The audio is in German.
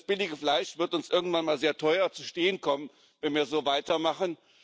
Das billige Fleisch wird uns irgendwann mal sehr teuer zu stehen kommen, wenn wir so weitermachen.